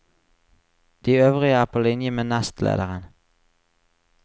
De øvrige er på linje med nestlederen.